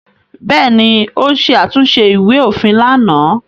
Bẹ́ẹ̀ ni, ó ṣe àtúnṣe ìwé-òfin lánàá.